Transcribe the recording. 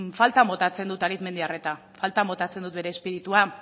faltan botatzen dut arizmendiarreta faltan botatzen dut bere espiritua